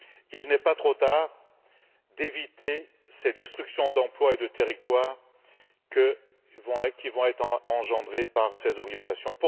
Il n'est pas trop tard pour éviter ces destructions d'emplois et de territoires qui vont être engendrées par ces orientations.